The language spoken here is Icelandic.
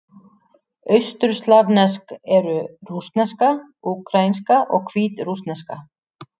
Austurslavnesk eru: rússneska, úkraínska og hvítrússneska.